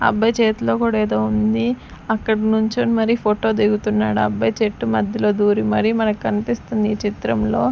ఆ అబ్బాయి చేతిలో కూడా ఏదో ఉంది అక్కడ నుంచుని మరి ఫోటో దిగుతున్నాడు ఆ అబ్బాయి చెట్టు మధ్యలో దూరి మరి మనకు కనిపిస్తుంది ఈ చిత్రంలో.